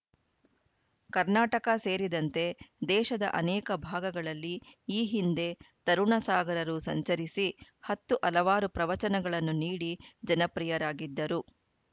ಕರ್ನಾಟಕ ಸೇರಿದಂತೆ ದೇಶದ ಅನೇಕ ಭಾಗಗಳಲ್ಲಿ ಈ ಹಿಂದೆ ತರುಣ ಸಾಗರರು ಸಂಚರಿಸಿ ಹತ್ತು ಹಲವಾರು ಪ್ರವಚನಗಳನ್ನು ನೀಡಿ ಜನಪ್ರಿಯರಾಗಿದ್ದರು